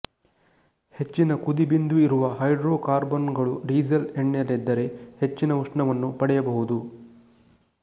ಹೆಚ್ಚಿನ ಕುದಿಬಿಂದು ಇರುವ ಹೈಡ್ರೋಕಾರ್ಬನ್ನುಗಳು ಡೀಸಲ್ ಎಣ್ಣೆಯಲ್ಲಿದ್ದರೆ ಹೆಚ್ಚಿನ ಉಷ್ಣವನ್ನು ಪಡೆಯಬಹುದು